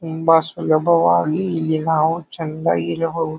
ತುಂಬಾ ಸುಲಭವಾಗಿ ಇಲ್ಲಿ ನಾವು ಚಂದ ಇರಬಹುದು.